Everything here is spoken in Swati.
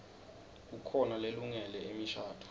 kukhona lelungele imishadvo